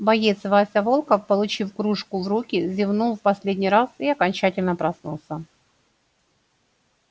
боец вася волков получив кружку в руки зевнул в последний раз и окончательно проснулся